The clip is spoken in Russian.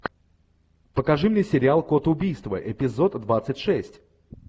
покажи мне сериал код убийства эпизод двадцать шесть